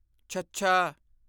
ਛੱਛਾ